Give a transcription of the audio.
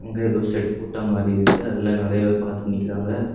ஏதோ ஷெட் போட்ட மாரி இருக்கு அதுல நெறய பேர் பாத்துட்டு நிக்கிறாங்க.